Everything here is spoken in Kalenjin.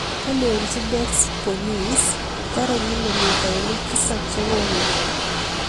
kolenjin bex polisik torei kilomitainik tisab chekongetu